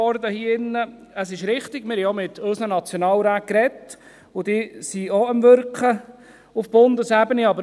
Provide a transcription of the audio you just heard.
Es ist richtig, wir haben auch mit unseren Nationalräten geredet, und diese sind daran, auf Bundesebene zu wirken.